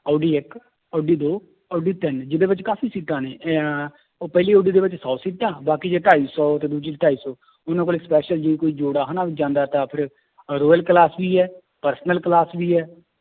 Audi ਇੱਕ ਓਡੀ ਦੋ ਓਡੀ ਤਿੰਨ ਜਿਹਦੇ ਵਿੱਚ ਕਾਫ਼ੀ ਸੀਟਾਂ ਨੇ ਇਹ ਉਹ ਪਹਿਲੀ ਓਡੀ ਦੇ ਵਿੱਚ ਸੌ ਸੀਟਾਂ ਬਾਕੀ ਚ ਢਾਈ ਸੌ ਤੇ ਦੂਜੀ ਚ ਢਾਈ ਸੌ ਉਹਨਾਂ ਕੋਲੇ special ਜੇ ਕੋਈ ਜੋੜਾ ਹਨਾ ਜਾਂਦਾ ਤਾਂ ਫਿਰ ਅਹ royal class ਵੀ ਹੈ personal class ਵੀ ਹੈ